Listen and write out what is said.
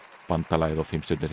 bandalagið og